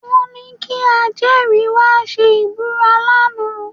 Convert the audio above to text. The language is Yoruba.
Wọ́n ní kí ajẹ́rìí wá ṣe ìbúra lánàá